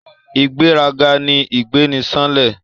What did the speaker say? Ìgbéraga ni ìgbéniṣánlẹ̀